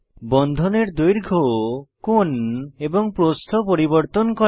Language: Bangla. বন্ধনের দৈর্ঘ্য কোণ এবং প্রস্থ পরিবর্তন করা